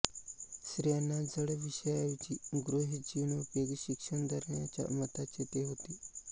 स्त्रियांना जड विषयांऐवजी गृहजीवनोपयोगी शिक्षण देण्याच्या मताचे ते होते